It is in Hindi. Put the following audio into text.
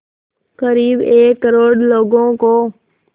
क़रीब एक करोड़ लोगों को